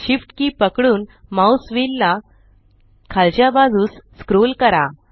SHIFT की पकडून mouse wheel ला खालच्या बाजूस स्क्रोल करा